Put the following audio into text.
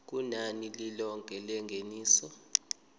kunani lilonke lengeniso